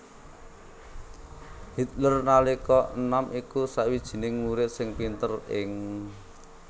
Hitler nalika enom iku sawijining murid sing pinter ing